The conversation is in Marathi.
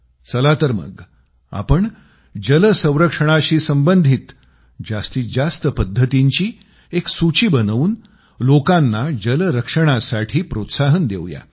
चला तर मग आपण जल संरक्षणाशी संबंधित जास्तीत जास्त पद्धतींची एक सूची बनवून लोकांना जलसंरक्षणासाठी प्रोत्साहन देवू या